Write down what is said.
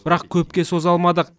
бірақ көпке соза алмадық